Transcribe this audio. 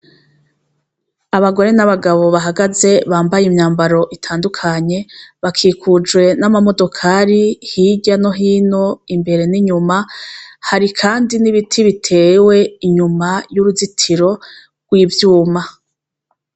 Abagore nabagabo bahagaze bambaye imyambaro itandukanye bakikujwe namamodokari hirya no hino imbere ninyuma hari kandi nibiti bitewe inyuma yuruzitiro rwivyuma